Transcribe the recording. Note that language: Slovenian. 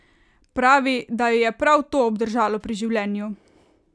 Pravi, da jo je prav to obdržalo pri življenju!